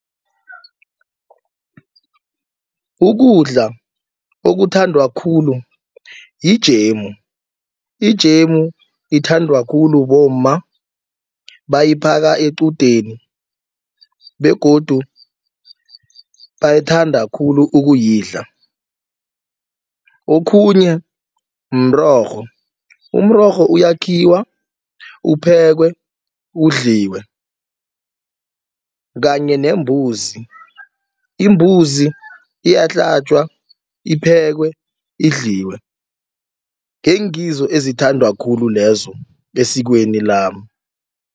Ukudla okuthandwa khulu yijemu. Ijemu ithandwa khulu bomma bayiphaka equdeni begodu bayithanda khulu ukuyidla. Okhunye mrorho, umrorho uyakhiwa uphekwe udliwe kanye nembuzi. Imbuzi iyahlatjwa iphekwe idliwe ngengizo ezithandwa khulu lezo esikweni lami.